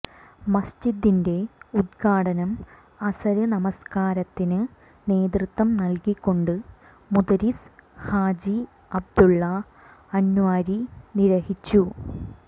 മസ്ജിദിന്റെ ഉല്ഘാടനം അസര് നമസ്കാരത്തിന് നേതൃത്വം നല്കിക്കൊണ്ട് മുദരിസ് ഹാജി അബ്ദുള്ള അന്വരി നിര്വഹിച്ചു